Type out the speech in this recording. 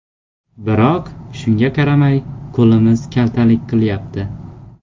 Biroq shunga qaramay qo‘limiz kaltalik qilyapti.